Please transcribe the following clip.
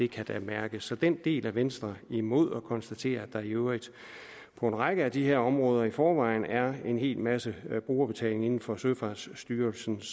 kan da mærkes så den del er venstre imod og vi konstaterer at der i øvrigt på en række af de her områder i forvejen er en hel masse brugerbetaling inden for søfartsstyrelsens